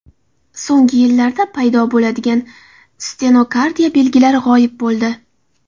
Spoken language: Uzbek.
So‘nggi yillarda paydo bo‘lgan stenokardiya belgilari g‘oyib bo‘ldi.